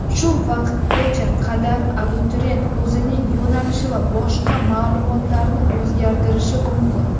Shu vaqtgacha qadar abituriyent o‘zining yo‘nalishi va boshqa ma’lumotlarini o‘zgartirishi mumkin.